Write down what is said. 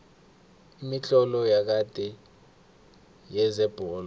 imitlolo yakade yezebholo